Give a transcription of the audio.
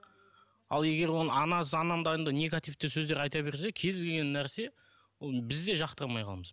ал егер оны анасы анандай анандай негативті сөздер айта берсе кез келген нәрсе ол біз де жақтырмай қаламыз